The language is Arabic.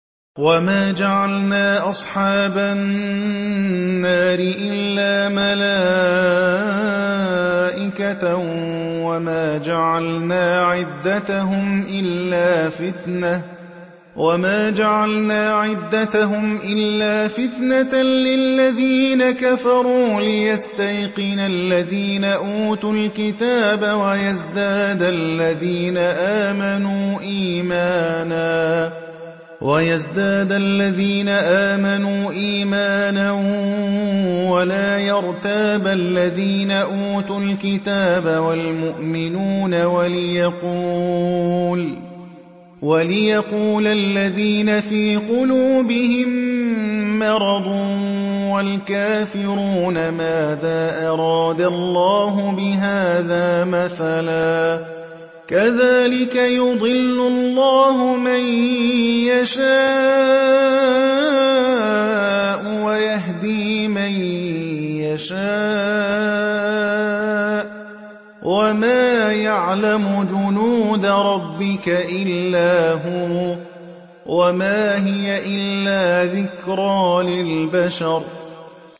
وَمَا جَعَلْنَا أَصْحَابَ النَّارِ إِلَّا مَلَائِكَةً ۙ وَمَا جَعَلْنَا عِدَّتَهُمْ إِلَّا فِتْنَةً لِّلَّذِينَ كَفَرُوا لِيَسْتَيْقِنَ الَّذِينَ أُوتُوا الْكِتَابَ وَيَزْدَادَ الَّذِينَ آمَنُوا إِيمَانًا ۙ وَلَا يَرْتَابَ الَّذِينَ أُوتُوا الْكِتَابَ وَالْمُؤْمِنُونَ ۙ وَلِيَقُولَ الَّذِينَ فِي قُلُوبِهِم مَّرَضٌ وَالْكَافِرُونَ مَاذَا أَرَادَ اللَّهُ بِهَٰذَا مَثَلًا ۚ كَذَٰلِكَ يُضِلُّ اللَّهُ مَن يَشَاءُ وَيَهْدِي مَن يَشَاءُ ۚ وَمَا يَعْلَمُ جُنُودَ رَبِّكَ إِلَّا هُوَ ۚ وَمَا هِيَ إِلَّا ذِكْرَىٰ لِلْبَشَرِ